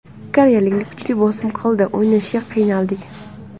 Koreyaliklar kuchli bosim qildi, o‘ynashga qiynaldik.